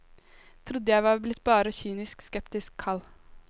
Trodde jeg var blitt bare kynisk, skeptisk, kald.